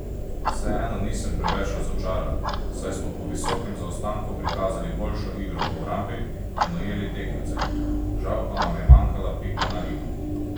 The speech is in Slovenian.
Vseeno nisem preveč razočaran, saj smo po visokem zaostanku prikazali boljšo igro v obrambi in ujeli tekmece, žal pa nam je manjkala pika na i.